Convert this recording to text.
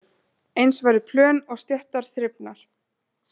Eins væru plön og stéttar þrifnar